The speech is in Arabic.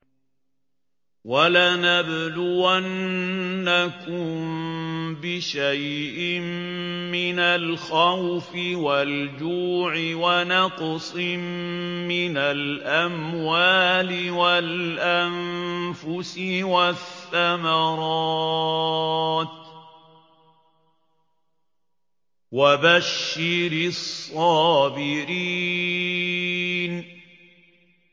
وَلَنَبْلُوَنَّكُم بِشَيْءٍ مِّنَ الْخَوْفِ وَالْجُوعِ وَنَقْصٍ مِّنَ الْأَمْوَالِ وَالْأَنفُسِ وَالثَّمَرَاتِ ۗ وَبَشِّرِ الصَّابِرِينَ